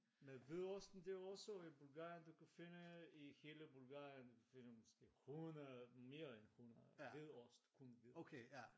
Men hvidosten det er også i Bulgarien du kan finde i hele Bulgarien finde måske 100 mere end 100 hvid ost kun hvid ost